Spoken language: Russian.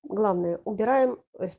главное убираем